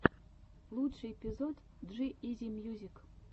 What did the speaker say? лучший эпизод джи изи мьюзик